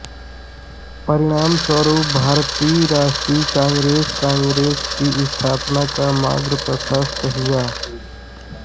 परिणामस्वरूप भारतीय राष्ट्रीय कांग्रेसकांग्रेस की स्थापना का मार्ग प्रशस्त हुआ